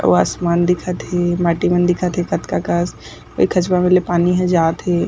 अउ आसमान दिखत हे माटी मन दिखत हे कतका कस अउ ए खचवा मेर ल पानी ह जात हे।